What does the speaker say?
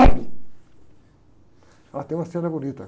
Ah, tem uma cena bonita.